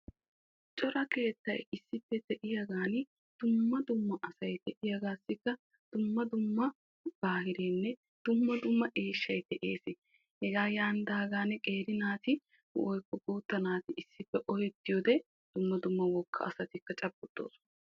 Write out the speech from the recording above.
Cora keettay issippe de'iyagan dumma dumma asay de'iyagettussi dumma dumma eeshshay de'ees. Hegankka qeeri naatinne wogga asay cabbotosonna.